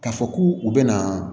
K'a fɔ k'u bɛna